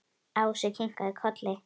Ási kinkaði kolli.